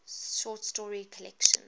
short story collection